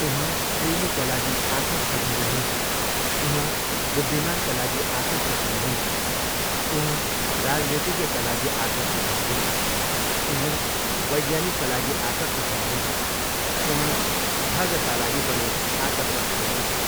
उहाँ प्रेमीका लागि आकर्षक हुनुहुन्छ, उहाँ बुद्धिमानका लागि आकर्षक हुनुहुन्छ, उहाँ राजनीतिज्ञका लागि आकर्षक हुनुहुन्छ, उहाँ वैज्ञानिकका लागि आकर्षक हुनुहुन्छ, उहाँ ठगका लागि पनि आकर्षक हुनुहुन्छ।